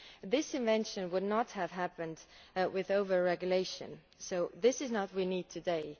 This invention would not have happened with over regulation, so this is not what we need today.